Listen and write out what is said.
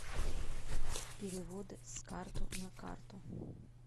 переводы с карты на карту